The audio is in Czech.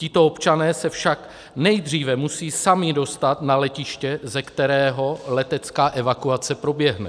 Tito občané se však nejdříve musí sami dostat na letiště, ze kterého letecká evakuace proběhne.